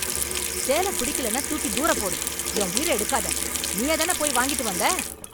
சேலை பிடிக்கலேனா தூக்கித் தூரப் போடு, என் உயிர எடுக்காத, நீயா தான போய் வாங்கிட்டு வந்த?